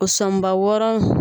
O sɔnba wɔɔrɔ